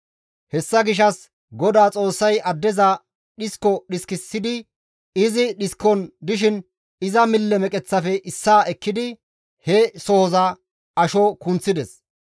Hessa gishshas GODAA Xoossay addeza dhisko dhiskisidi, izi dhiskon dishin iza mille meqeththatappe issaa ekkidi he sohozan asho kunththides.